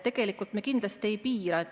Tegelikult me kindlasti ei piira.